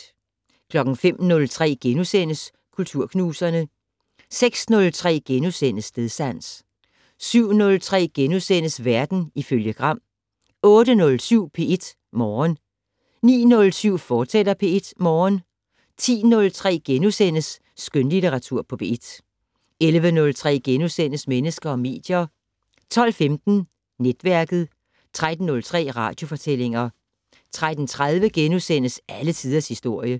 05:03: Kulturknuserne * 06:03: Stedsans * 07:03: Verden ifølge Gram * 08:07: P1 Morgen 09:07: P1 Morgen, fortsat 10:03: Skønlitteratur på P1 * 11:03: Mennesker og medier * 12:15: Netværket 13:03: Radiofortællinger 13:30: Alle tiders historie *